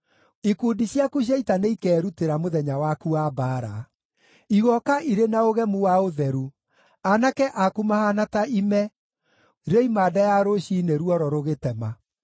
Ikundi ciaku cia ita nĩikerutĩra mũthenya waku wa mbaara. Igooka irĩ na ũgemu wa ũtheru, aanake aku mahaana ta ime rĩoima nda ya rũciinĩ ruoro rũgĩtema.